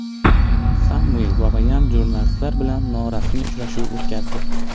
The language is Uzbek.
Samvel Babayan jurnalistlar bilan norasmiy uchrashuv o‘tkazdi.